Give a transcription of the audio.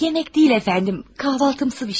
Yemək deyil, əfəndim, kahvaltısı bir şey.